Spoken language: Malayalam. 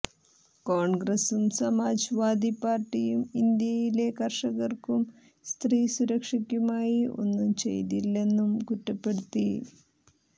കോണ്ഗ്രസ്സും സമാജ് വാദി പാര്ട്ടിയും ഇന്ത്യയിലെ കര്ഷകര്ക്കും സ്ത്രീ സുരക്ഷയ്ക്കുമായി ഒന്നും ചെയ്തില്ലെന്നും കുറ്റപ്പെടുത്തി